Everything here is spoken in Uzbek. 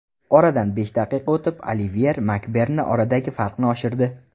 Oradan besh daqiqa o‘tib Oliver Makberni oradagi farqni oshirdi.